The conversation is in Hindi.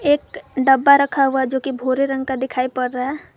एक डब्बा रखा हुआ जो की भूरे रंग का दिखाई पड़ रहा है।